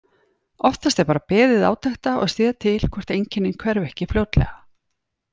Oftast er bara beðið átekta og séð til hvort einkennin hverfi ekki fljótlega.